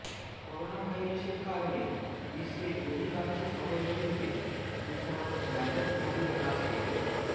করোনাভাইরাসের কারণে বিশ্বের অধিকাংশ শহরগুলোতে দূষণ ব্যাপকভাবে হ্রাস পেল